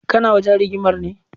Kana wajen rigimar ne?